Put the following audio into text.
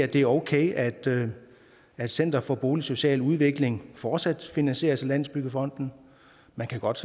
det er okay at at center for boligsocial udvikling fortsat finansieres af landsbyggefonden man kan godt